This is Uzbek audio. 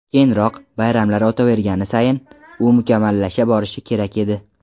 Keyinroq, bayramlar o‘tavergani sayin, u mukammallasha borishi kerak edi.